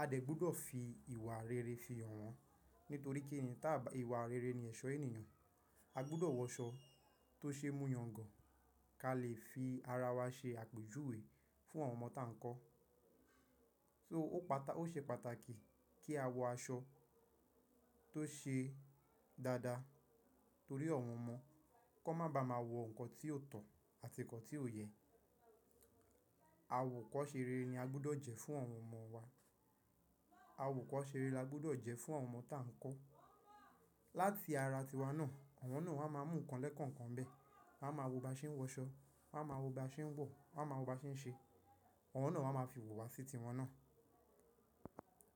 A dẹ̀ gbọ́dọ̀ fi ìwà rere fi hàn wọ́n, nítorí kí ni tí ìwà rere ni ẹ̀ṣọ́ ènìyàn. A gbọ́dọ̀ wọ aṣọ tó ṣe mú yangàn, ká lè fi ara wa ṣe àpèjúwe fún àwọn ọmọ tá ń kọ́. So ó ṣe pàtàkì kí a wọ aṣọ tó ṣe dáadáa torí àwọn ọmọ. Kọ́ má ba à máa wọ nǹkan tí ò tọ̀ àti nǹkan tí ò yẹ. Awòkọ́ṣe rere ni a gbọ́dọ̀ jẹ́ fún àwọn ọmọ wa. Awòkọ́ṣe rere la gbọ́dọ̀ jẹ́ fún àwọn ọmọ tá ń kọ́. Láti ara tiwa náà, àwọn náà wá máa mú nǹkan lẹ́kọ̀ọ́ kan bẹ́ẹ̀. Wọ́n á máa wo bá ṣe ń wọ aṣọ, wọ́n á máa wo bá ṣe ń wọ̀, wọ́n á máa wo bá ṣe ń ṣe. Àwọn náà wá máa fi wò wá sí tiwọn náà.